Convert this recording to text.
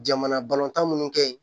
Jamana balontan minnu kɛ ye